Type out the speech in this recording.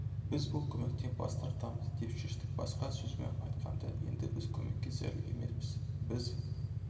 біз бұл көмектен бас тартамыз деп шештік басқа сөзбен айтқанда енді біз көмекке зәру емеспіз біз